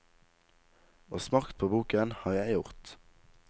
Og smakt på boken har jeg gjort.